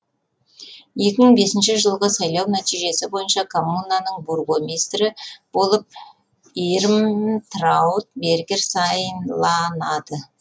екі мың бесінші жылғы сайлау нәтижесі бойынша коммунаның бургомистрі болып ирмтрауд бергер сайланады